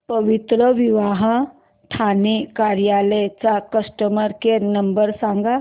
पवित्रविवाह ठाणे कार्यालय चा customer care number सांग